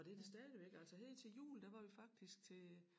Og det det stadigvæk altså her til jul der var vi faktisk til